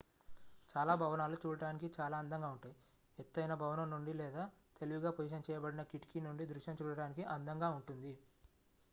చాలా భవనాలు చూడటానికి చాలా అందంగా ఉంటాయి ఎత్తైన భవనం నుండి లేదా తెలివిగా-పొజిషన్ చేయబడిన కిటికీ నుండి దృశ్యం చూడటానికి అందంగా ఉంటుంది